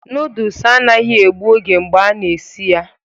Noodles anaghị egbu oge mgbe a na-esi ya